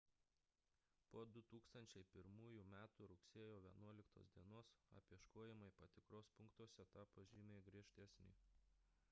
po 2001 m rugsėjo 11 d apieškojimai patikros punktuose tapo žymiai griežtesni